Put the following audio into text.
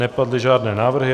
Nepadly žádné návrhy.